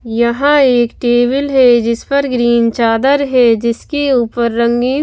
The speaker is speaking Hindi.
यहां एक टेबल है जिस पर ग्रीन चादर है जिसके ऊपर रंगीन--